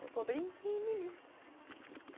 Foi por brinquinho em mim.